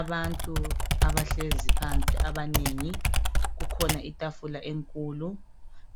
Abantu abahlezi phansi abanengi. Kukhona itafula enkulu